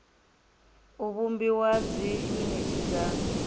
u vhumbiwa ha dziyuniti dza